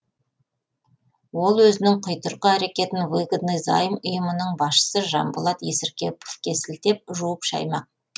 ол өзінің құйтырқы әрекетін выгодный займ ұйымының басшысы жанболат есіркеповке сілтеп жуып шаймақ